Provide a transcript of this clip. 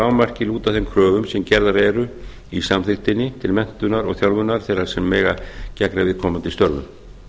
lágmarki lúta þeim kröfum sem gerðar eru i samþykktinni til menntunar og þjálfunar þeirra sem eiga að gegna viðkomandi störfum